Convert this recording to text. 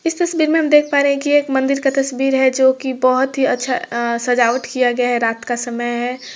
इस तस्वीर में हम देख पा रहे हैं की ये एक मंदिर की तस्वीर है जो कि बहुत ही अच्छा अ सजावट किया गया है रात का समय है।